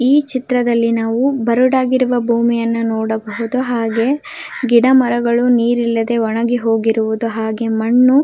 ಈ ಚಿತ್ರದ್ಲಲಿ ನಾವು ಬರಡಾಗಿರುವ ಭೂಮಿಯನ್ನು ನೋಡಬಹುದು ಹಾಗೆ ಗಿಡ ಮರಗಳು ನೀರಿಲ್ಲದೆ ಒಣಗಿರುವುದು ಹಾಗೆ ಮನ್ನು --